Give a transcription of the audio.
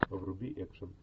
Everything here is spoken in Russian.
вруби экшен